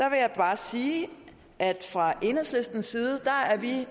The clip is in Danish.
jeg bare sige at fra enhedslistens side er vi